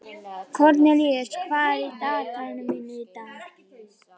Kornelíus, hvað er á dagatalinu mínu í dag?